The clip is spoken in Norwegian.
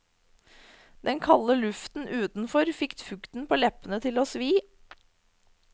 Den kalde luften utenfor fikk fukten på leppene til å svi.